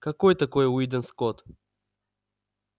какой такой уидон скотт